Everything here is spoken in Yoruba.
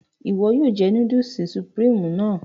Iwọ yóò jẹ núdùlsì Sùpríímù náà